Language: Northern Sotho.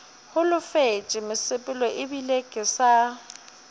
holofetše mosepelo ebile ke sa